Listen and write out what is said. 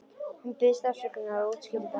Hún biðst afsökunar og útskýrir það.